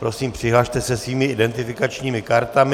Prosím, přihlaste se svými identifikačními kartami.